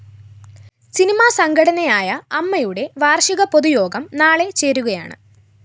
cinema സംഘടനയായ അമ്മയുടെ വാര്‍ഷിക പൊതു യോഗം നാളെ ചേരുകയാണ്